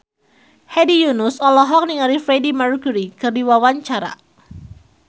Hedi Yunus olohok ningali Freedie Mercury keur diwawancara